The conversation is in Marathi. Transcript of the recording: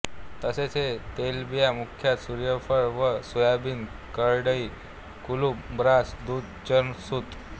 तसेच हे तेलबिया मुख्यतः सुर्यफुल व सोयाबिन करडई कुलुप ब्रास दुध चुर्ण व सुत